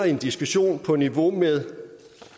i en diskussion på niveau med